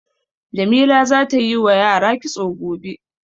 Jamila za ta yi wa yara kitso gobe.